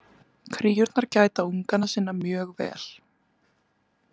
Kríurnar gæta unganna sinna mjög vel.